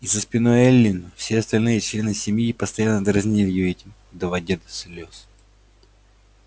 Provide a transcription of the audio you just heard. и за спиной эллин все остальные члены семьи постоянно дразнили её этим доводя до слез